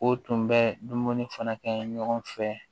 O tun bɛ dumuni fana kɛ ɲɔgɔn fɛ